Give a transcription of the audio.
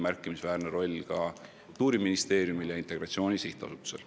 Märkimisväärne roll on ka Kultuuriministeeriumil ja Integratsiooni Sihtasutusel.